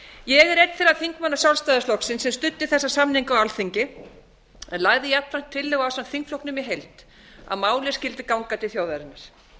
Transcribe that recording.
ég er einn þeirra þingmanna sjálfstæðisflokksins sem studdu þessa samninga á alþingi en lagði jafnframt tillögu ásamt þingflokknum í heild að málið skyldi ganga til þjóðarinnar